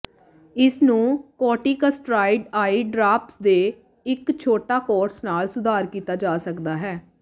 ਇਸ ਨੂੰ corticosteroid eye drops ਦੇ ਇੱਕ ਛੋਟਾ ਕੋਰਸ ਨਾਲ ਸੁਧਾਰ ਕੀਤਾ ਜਾ ਸਕਦਾ ਹੈ